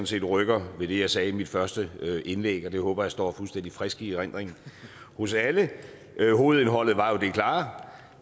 set rykker ved det jeg sagde i mit første indlæg og det håber jeg står fuldstændig frisk i erindring hos alle hovedindholdet var jo det klare